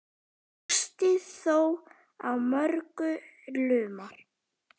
Árstíð þó á mörgu lumar.